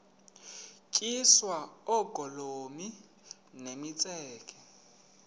tyiswa oogolomi nemitseke